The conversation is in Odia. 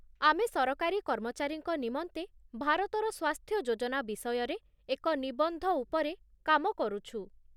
ଆମେ ସରକାରୀ କର୍ମଚାରୀଙ୍କ ନିମନ୍ତେ ଭାରତର ସ୍ୱାସ୍ଥ୍ୟ ଯୋଜନା ବିଷୟରେ ଏକ ନିବନ୍ଧ ଉପରେ କାମ କରୁଛୁ।